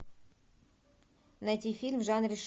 найти фильм в жанре